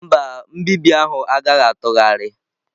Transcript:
Mba, nbibi ahụ agaghị atụgharị.